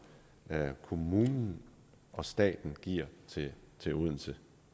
kommunen og staten giver til odense